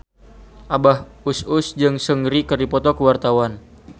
Abah Us Us jeung Seungri keur dipoto ku wartawan